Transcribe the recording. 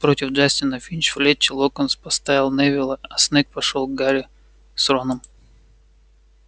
против джастина финч-флетчли локонс поставил невилла а снегг пошёл к гарри с роном